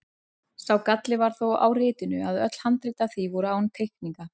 Sá galli var þó á ritinu að öll handrit af því voru án teikninga.